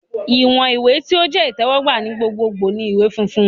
Iwọn iwe ti o jẹ itẹwọgba ni gbogbogbo ni iwe funfun